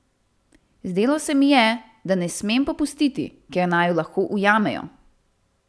Zdelo se mi je, da ne smem popustiti, ker naju lahko ujamejo.